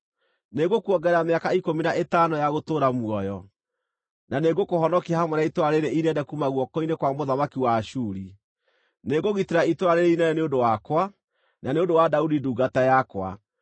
Nĩngũkuongerera mĩaka ikũmi na ĩtano ya gũtũũra muoyo. Na nĩngũkũhonokia hamwe na itũũra rĩĩrĩ inene kuuma guoko-inĩ kwa mũthamaki wa Ashuri. Nĩngũgitĩra itũũra rĩĩrĩ inene nĩ ũndũ wakwa, na nĩ ũndũ wa Daudi ndungata yakwa.’ ”